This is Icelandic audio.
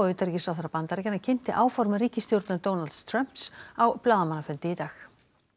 utanríkisráðherra Bandaríkjanna kynnti áform ríkisstjórnar Donalds Trumps á blaðamannafundi í dag